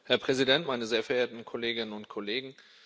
Herr Präsident, meine sehr verehrten Kolleginnen und Kollegen!